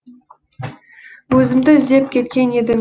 өзімді іздеп кеткен едім